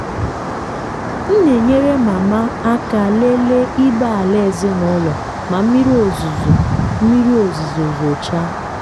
m na-enyere mama aka lele ibé-ala ezinụlọ ma mmiri ozuzo mmiri ozuzo zochaa.